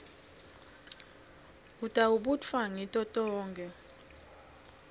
utawubutfwa ngito tonkhe